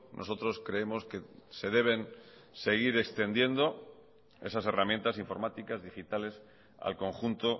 nosotros creemos que se deben seguir extendiendo esas herramientas informáticas digitales al conjunto